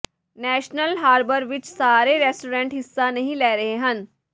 national Harbor ਵਿਚ ਸਾਰੇ restaurant ਹਿੱਸਾ ਨਹੀਂ ਲੈ ਰਹੇ ਹਨ